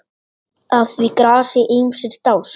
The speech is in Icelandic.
Að því grasi ýmsir dást.